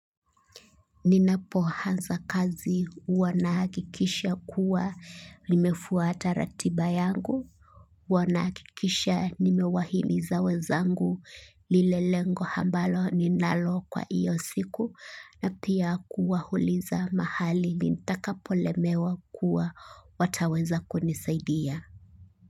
Ninapoanza kazi huwa nahakikisha kuwa nimefuata ratiba yangu, huwa nahakikisha nimewahimiza wenzangu lile lengo ambalo ninalo kwa hio siku na pia kuwauliza mahali ninapolemewa kuwa wataweza kunisaidia.